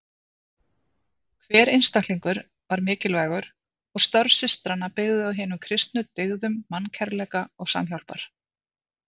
Hver einstaklingur var mikilvægur og störf systranna byggðu á hinum kristnu dyggðum mannkærleika og samhjálpar.